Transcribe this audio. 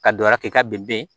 Ka dɔ wɛrɛ kɛ k'a bɛn